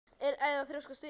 Eða að þrjóskast við?